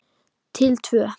Til tvö.